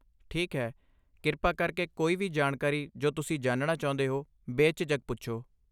ਠੀਕ ਹੈ, ਕਿਰਪਾ ਕਰਕੇ ਕੋਈ ਵੀ ਜਾਣਕਾਰੀ ਜੋ ਤੁਸੀਂ ਜਾਣਨਾ ਚਾਹੁੰਦੇ ਹੋ ਬੇਝਿਜਕ ਪੁੱਛੋ ?